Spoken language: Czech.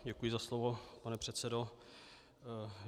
Děkuji za slovo, pane předsedo.